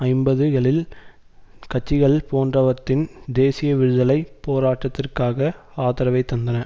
ஐம்பது களில் கட்சிகள் போன்றவற்றின் தேசிய விடுதலை போராட்டத்திற்காக ஆதரவை தந்தன